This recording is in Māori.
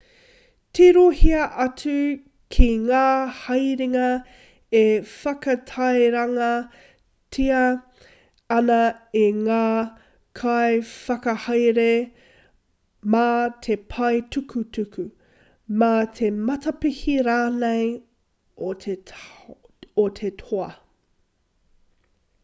tirohia atu ki ngā haerenga e whakatairangatia ana e ngā kaiwhakahaere mā te pae tukutuku mā te matapihi rānei o te toa